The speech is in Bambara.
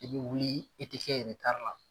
I bɛ wuli i te kɛ retari la.